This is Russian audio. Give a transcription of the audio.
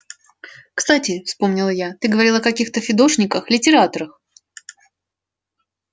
кстати вспомнила я ты говорил о каких-то фидошниках-литераторах